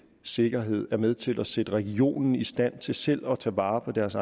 sikkerhed er med til at sætte regionen i stand til selv at tage vare på deres